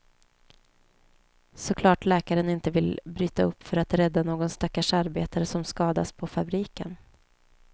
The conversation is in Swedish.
Såklart läkaren inte vill bryta upp för att rädda någon stackars arbetare som skadats på fabriken.